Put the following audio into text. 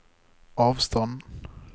avstand